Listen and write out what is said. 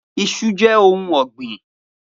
Iṣu jẹ ohun ọgbin.